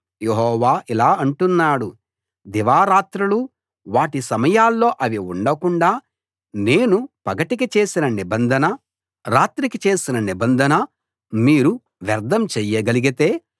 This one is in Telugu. యెహోవా ఇలా అంటున్నాడు దివారాత్రులు వాటి సమయాల్లో అవి ఉండకుండా నేను పగటికి చేసిన నిబంధన రాత్రికి చేసిన నిబంధన మీరు వ్యర్ధం చెయ్యగలిగితే